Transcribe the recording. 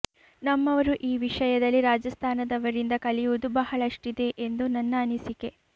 ನಮ್ಮವರು ಈ ವಿಷಯದಲ್ಲಿ ರಾಜಸ್ಥಾನದವರಿಂದ ಕಲಿಯುವುದು ಬಹಳಷ್ಟಿದೆ ಎಂದು ನನ್ನ ಅನಿಸಿಕೆ